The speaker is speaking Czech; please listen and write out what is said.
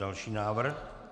Další návrh.